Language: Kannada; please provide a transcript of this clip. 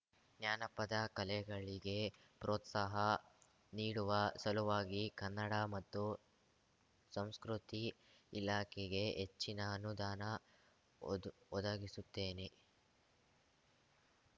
ಜಾನಪದ ಕಲೆಗಳಿಗೆ ಪ್ರೋತ್ಸಾಹ ನೀಡುವ ಸಲುವಾಗಿ ಕನ್ನಡ ಮತ್ತು ಸಂಸ್ಕೃತಿ ಇಲಾಖೆಗೆ ಹೆಚ್ಚಿನ ಅನುದಾನ ಒದು ಒದಗಿಸುತ್ತೇನೆ